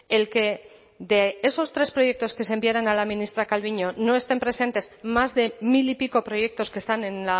el que de esos tres proyectos que se enviaran a la ministra calviño no estén presentes más de mil y pico proyectos que están en